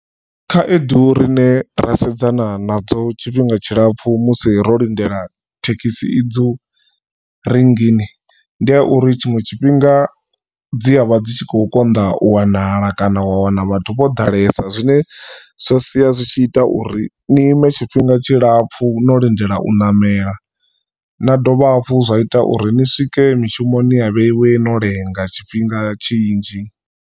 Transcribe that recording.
Khaedu rine ra sedzana nadzo tshifhinga tshilapfhu musi ro lindela thekhisi idzo rinngini ndi ya uri tshiṅwe tshifhinga dzi a vha dzi tshi khou konḓa u wanala kana wa wana na vhathu vho ḓalesa zwine zwa sia zwi tshi ita uri ni ime tshifhinga tshilapfhu no lindela u ṋamela na dovha hafhu zwa ita uri ni swike mishumoni ya vheiwe no lenga tshifhinga tshinzhi.